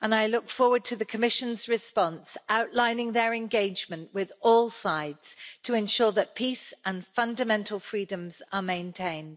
I look forward to the Commission's response, outlining their engagement with all sides to ensure that peace and fundamental freedoms are maintained.